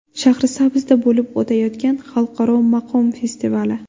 Shahrisabzda bo‘lib o‘tayotgan xalqaro maqom festivali.